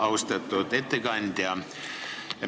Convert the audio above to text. Austatud ettekandja!